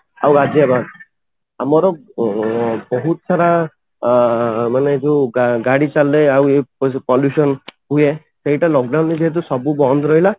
ଆଉ ଗାଜିଆବାଦ ଆମର ଅଂ ବହୁତ ସାରା ଅଂ ମାନେ ଯୋଉ ଗାଡି ଚାଲିଲେ ଆଉ ଏଇ pollution ହୁଏ ସେଇଟା lock down ରେ ଯେହେତୁ ସବୁ ବନ୍ଦ ରହିଲା